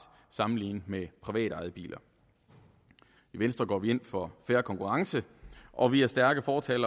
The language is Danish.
sammenlignet med privatejede biler i venstre går vi ind for fair konkurrence og vi er stærke fortalere